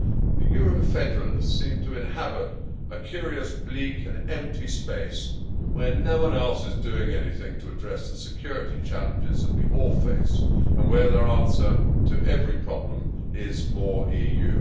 The Euro federalists seem to inhabit a curious bleak and empty space where no one else is doing anything to address the security challenges that we all face, and where their answer to every problem is more EU.